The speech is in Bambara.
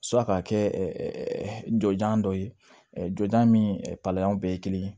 ka kɛ jojan dɔ ye jɔnjan ni palan bɛɛ ye kelen ye